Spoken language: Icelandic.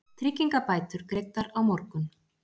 Tryggingabætur greiddar á morgun